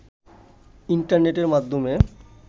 ইন্টারনেটের মাধ্যমে